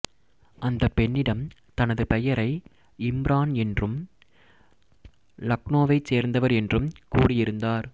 அந்தப் பெண்ணிடம் தனது பெயரை இம்ரான் என்றும் லக்னோவைச் சேர்ந்தவர் என்றும் கூறியிருந்தார்